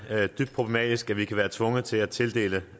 dybt problematisk at vi kan være tvunget til at tildele